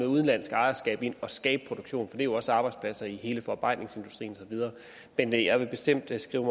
udenlandsk ejerskab ind og skabe produktion for det skaber jo også arbejdspladser i hele forarbejdningsindustrien og så videre men jeg vil bestemt skrive